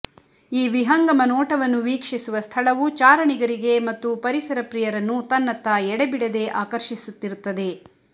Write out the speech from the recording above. ಈ ವಿಹಂಗಮ ನೋಟವನ್ನು ವೀಕ್ಷಿಸುವ ಸ್ಥಳವು ಚಾರಣಿಗರಿಗೆ ಮತ್ತು ಪರಿಸರ ಪ್ರಿಯರನ್ನು ತನ್ನತ್ತ ಎಡೆಬಿಡದೆ ಆಕರ್ಷಿಸುತ್ತಿರುತ್ತದೆ